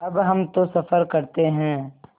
अब हम तो सफ़र करते हैं